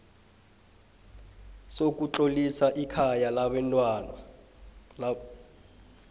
sokutlolisa ikhaya labantwana